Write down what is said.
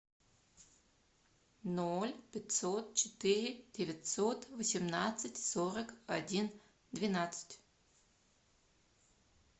ноль пятьсот четыре девятьсот восемнадцать сорок один двенадцать